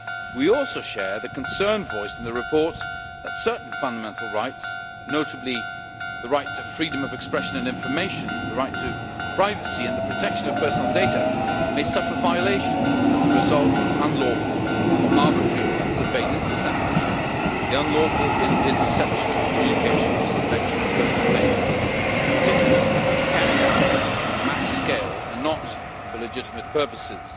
We also share the concern voiced in the report that certain fundamental rights, notably the right to freedom of expression and information, the right to privacy and the protection of personal data, may be violated as a result of unlawful or arbitrary surveillance, censorship, the unlawful interception of communications, or the collection of personal data, in particular when carried out on a mass scale and not for legitimate purposes.